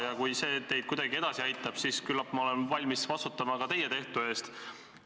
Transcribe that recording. Ja kui see teid kuidagi edasi aitab, siis küllap ma olen valmis vastutama ka teie tehtu eest.